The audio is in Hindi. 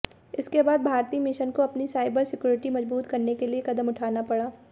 इसके बाद भारतीय मिशन को अपनी साइबर सिक्युरिटी मजबूत करने के लिए कदम उठाना पड़ा